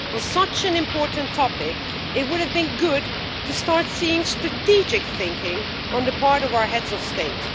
On such an important topic, it would have been good to start seeing strategic thinking on the part of our Heads of State.